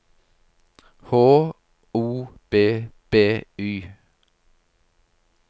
H O B B Y